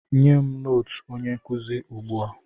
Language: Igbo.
Nye m nootu onye nkụzi ugbu a!